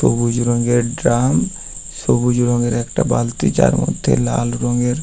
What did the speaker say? সবুজ রঙের ড্রাম সবুজ রঙের একটা বালতি যার মধ্যে লাল রঙের--